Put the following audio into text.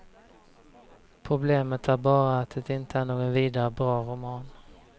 Problemet är bara att det inte är någon vidare bra roman.